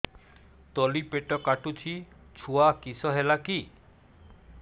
ତଳିପେଟ କାଟୁଚି ଛୁଆ କିଶ ହେଲା କି